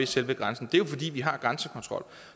selve grænsen det er jo fordi vi har grænsekontrol